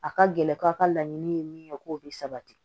A ka gɛlɛn aw ka laɲini ye min ye k'o bɛ sabati